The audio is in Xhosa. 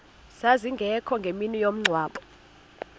zazingekho ngemini yomngcwabo